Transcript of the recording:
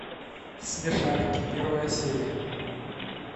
смешарики первая серия